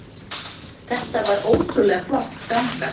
Þetta var ótrúlega flott ganga